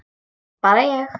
Bara ég.